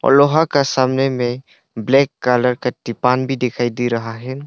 लोहा के सामने में ब्लैक कलर का टिपान भी दिखाई दे रहा है।